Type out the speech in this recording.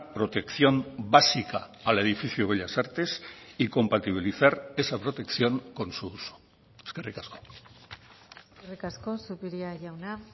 protección básica al edificio bellas artes y compatibilizar esa protección con su uso eskerrik asko eskerrik asko zupiria jauna